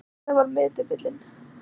Lísa var miðdepillinn.